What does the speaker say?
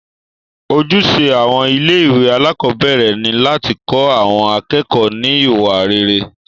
Ojúṣe àwọn ilé ìwé alákọ̀berẹ̀ ni láti kọ́ àwọn akẹ́kọ̀ọ́ ní iwa rere.